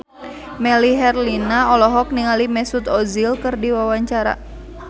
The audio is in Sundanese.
Melly Herlina olohok ningali Mesut Ozil keur diwawancara